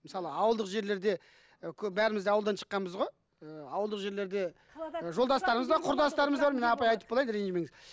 мысалы ауылдық жерлерде і көбі бәріміз де ауылдан шыққанбыз ғой ы ауылдық жерлерде ы жолдастарымыз бар құрдастарымыз бар мен апа айтып болайын ренжімеңіз